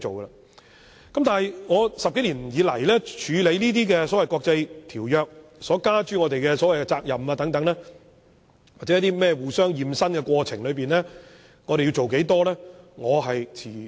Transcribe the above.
在這10多年處理有關國際條約所加諸我們的責任或在所謂"互相驗身"的過程中，我們要做多少？